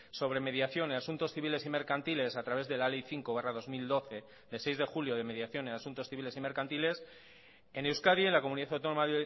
sobre mediación y asuntos civiles y mercantiles a través de la ley cinco barra dos mil doce de seis de julio de mediación y asuntos civiles y mercantiles en euskadi en la comunidad autónoma